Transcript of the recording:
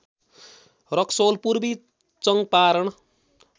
रक्सौल पूर्वी चङ्पारण